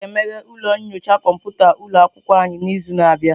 A ga-emeghe ụlọ nyocha kọmputa ụlọ akwụkwọ anyị n'izu na-abịa.